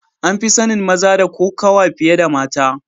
An fi sanin maza da kokawa fiye da mata.